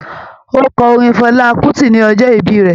Ó kọ orin Fela Kuti ní ọjọ́ ìbí rẹ̀